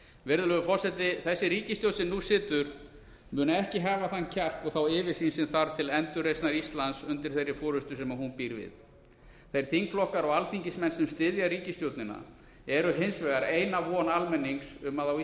virðulegur forseti þessi ríkisstjórn sem nú situr mun ekki hafa þann kjark og yfirsýn sem þarf til endurreisnar íslands undir þeirri forustu sem hún býr við þeir þingflokkar og alþingismenn sem styðja ríkisstjórnina eru hins vegar eina von almennings um að á